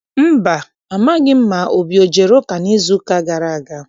Mba, amaghị m ma Obi ejere ụka n'izuụka gara aga.